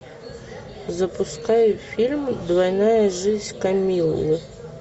запускай фильм двойная жизнь камиллы